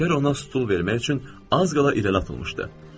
Nökər ona stul vermək üçün az qala irəli atılmışdı.